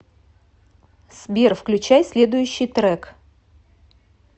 сбер включай следующий трек